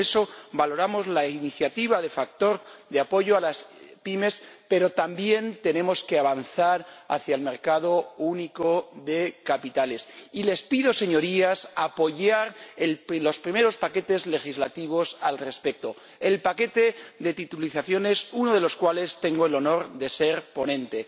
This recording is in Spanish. Por eso, valoramos la iniciativa del factor de apoyo a las pymes, pero también tenemos que avanzar hacia el mercado único de capitales. Y les pido, Señorías, que apoyen los primeros paquetes legislativos al respecto, como el paquete de titulizaciones, del que tengo el honor de ser ponente.